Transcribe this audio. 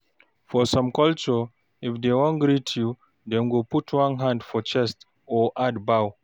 For some culture, if dem wan greet you, dem go put one hand for chest or add bow